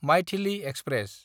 Maithili express